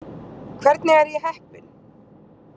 Hvernig er ég heppin?